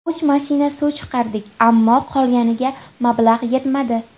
Uch mashina suv chiqardik, ammo qolganiga mablag‘ yetmadi.